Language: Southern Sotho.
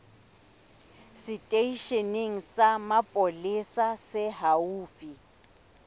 seteisheneng sa mapolesa se haufi